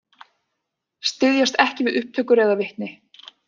Styðjast ekki við upptökur eða vitni